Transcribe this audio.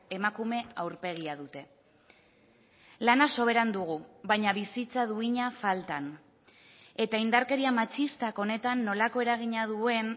emakume aurpegia dute lana soberan dugu baina bizitza duina faltan eta indarkeria matxistak honetan nolako eragina duen